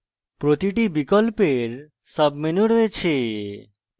প্রতিটি বিকল্পের submenu রয়েছে